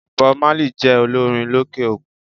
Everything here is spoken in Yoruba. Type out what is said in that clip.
Bob Marley jé olórin lókè òkun